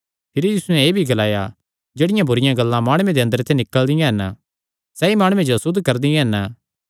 भिरी यीशुयैं एह़ भी ग्लाया जेह्ड़ियां बुरिआं गल्लां माणुआं दे अंदरे ते निकल़दियां हन सैई माणुये जो असुद्ध करदियां हन